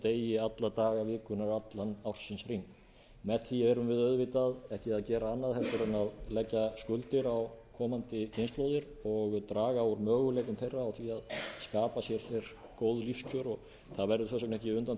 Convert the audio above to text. degi alla daga vikunnar allan ársins hring með ári erum við auðvitað ekki að gera annað heldur en að leggja skuldir á komandi kynslóðir og draga úr möguleikum þeirra á því að skapa sér góð lífskjör það verður þess vegna ekki undan